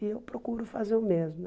E eu procuro fazer o mesmo.